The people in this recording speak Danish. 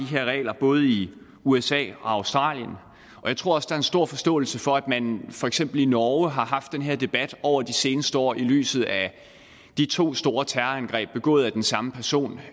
her regler både i usa og australien og jeg tror også der er stor forståelse for at man for eksempel i norge har haft den her debat over de seneste år i lyset af de to store terrorangreb begået af den samme person